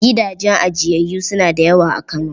Gidajen ajiyayyu suna da yawa a Kano.